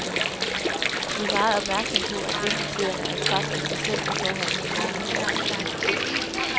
Vi er meget opmærksomme på, at ventetiderne er en faktor i sig selv i forhold til borgernes retssikkerhed.